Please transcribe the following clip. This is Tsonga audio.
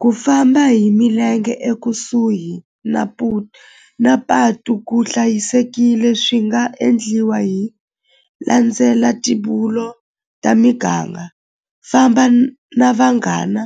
Ku famba hi milenge ekusuhi na na patu ku hlayisekile swi nga endliwa hi landzela ta miganga famba na vanghana